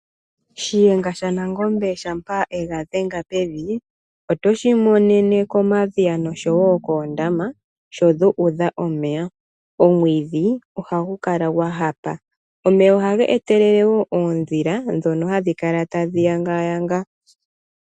Shuyenga shanangombe shampa ega dhenga pevi, oto shi imonene komadhiya noshowo koondama, sho dhu udha omeya. Omwiidhi ohagu kala gwa hapa. Omeya ohaga etelele wo oondhila, dhono hadhi kala tadhi yangayanga.